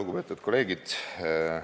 Lugupeetud kolleegid!